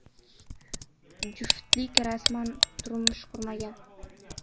Juftlik rasman turmush qurmagan.